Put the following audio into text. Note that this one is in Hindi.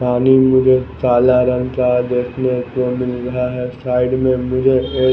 पानी मुझे काला रंग का देखने को मिल रहा है साइड में मुझे एक--